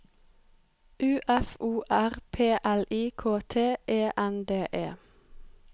U F O R P L I K T E N D E